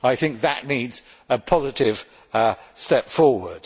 I think that needs a positive step forward.